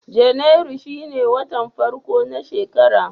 Janairu shine watan farko na shekara.